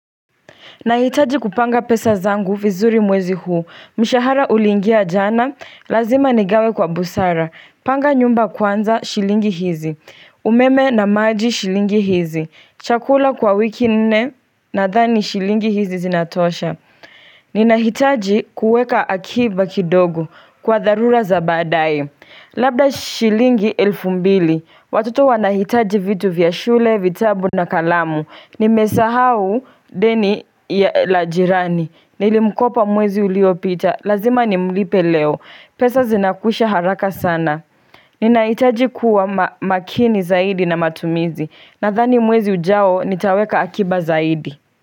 Nahitaji kupanga pesa zangu vizuri mwezi huu, mshahara ulingia jana, lazima nigawe kwa busara, panga nyumba kwanza shilingi hizi, umeme na maji shilingi hizi, chakula kwa wiki nne nadhani shilingi hizi zinatosha. Ninahitaji kuweka akiba kidogo kwa tharura za badae Labda shilingi elfu mbili Watoto wanahitaji vitu vya shule, vitabu na kalamu Nimesahau deni la jirani Nilimkopa mwezi uliopita Lazima ni mlipe leo pesa zinakwisha haraka sana Ninahitaji kuwa makini zaidi na matumizi Nadhani mwezi ujao nitaweka akiba zaidi.